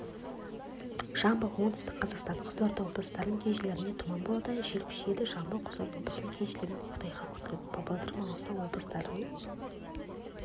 жамбыл оңтүстік қазақстан қызылорда облыстарының кей жерлерінде тұман болады жел күшейеді жамбыл қызылорда облыстарының кей жерлерінде көктайғақ күтіледі павлодар маңғыстау облыстарының